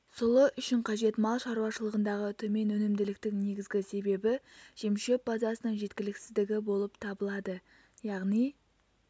сұлы үшін қажет мал шаруашылығындағы төмен өнімділіктің негізгі себебі жемшөп базасының жеткіліксіздігі болып табылады яғни